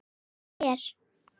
Hvað fannst þér?